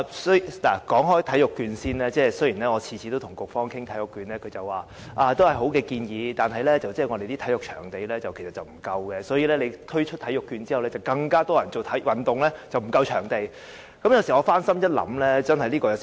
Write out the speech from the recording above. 先說體育券，雖然我每次跟局方談起體育券，局方都說是好建議，但卻又指香港的體育場地不足，如果推出體育券，便有更多人做運動，那麼，場地便會更為不足。